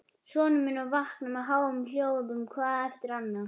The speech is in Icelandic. Sonurinn búinn að vakna með háum hljóðum hvað eftir annað.